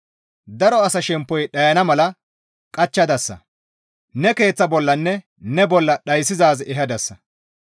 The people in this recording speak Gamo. Daro asa shemppoy dhayana mala qachchadasa; ne keeththa bollanne ne bolla dhayssizaaz ehadasa.